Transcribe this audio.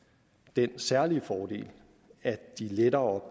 den særlige fordel at de lettere